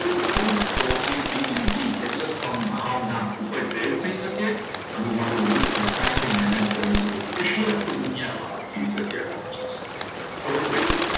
કોઈપણ probablity એટલે સંભાવના ઉપરથી થઈ શકે અને મારું ઘસાય છે અને મેનેજ કરી શકું એટલે આખી દુનિયામાં આ ખબર પડી